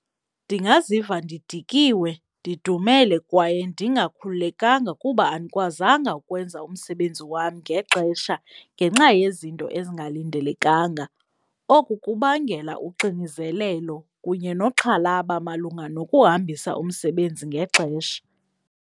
Ndingaziva ndidikiwe ndidumele kwaye ndingakhululekanga kuba andikwazanga ukwenza umsebenzi wam ngexesha ngenxa yezinto ezingalindelekanga. Oku kubangela uxinizelelo kunye nokuxhalaba malunga nokuhambisa umsebenzi ngexesha.